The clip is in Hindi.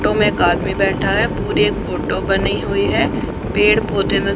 तो मे एक आदमी बैठा है पूरे एक फोटो बनी हुई है पेड़ पौधे न--